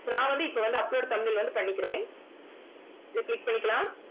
நான் வந்து இப்போ வந்து upload thumbnail வந்து பண்ணிக்கிறேன் இதை click பண்ணிக்கலாம்